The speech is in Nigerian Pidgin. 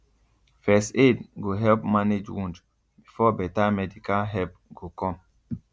first aid go help manage wound before better medical help go come